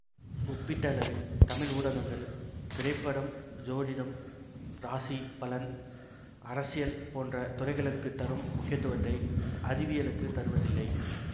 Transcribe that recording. ஒப்பீட்டளவில் தமிழ் ஊடகங்கள் திரைப்படம் சோதிடம் ராசி பலன் அரசியல் போன்ற துறைகளுக்குத் தரும் முக்கியத்துவத்தை அறிவியலுக்குத் தருவதில்லை